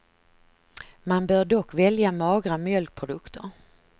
Man bör dock välja magra mjölkprodukter.